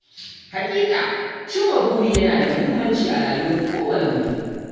Haƙiƙa Cimma buri yana da mahimmanci a rayuwar kowane mutum.